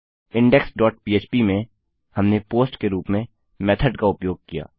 index dot पह्प में हमने पोस्ट के रूप में मेथोड का उपयोग किया